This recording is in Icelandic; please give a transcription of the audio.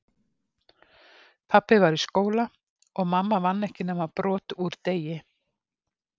Pabbi var í skóla, og mamma vann ekki nema brot úr degi